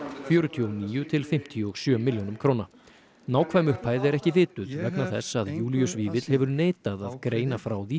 fjörutíu og níu til fimmtíu og sjö milljónum nákvæm upphæð er ekki vituð vegna þess að Júlíus Vífill hefur neitað að greina frá því